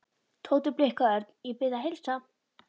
Tóti blikkaði Örn. Ég bið að heilsa